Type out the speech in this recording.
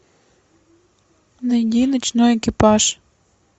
найди ночной экипаж